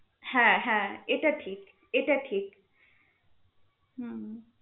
হ্যা হ্যা এটা ঠিক এটা ঠিক হম